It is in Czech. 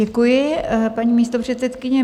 Děkuji, paní místopředsedkyně.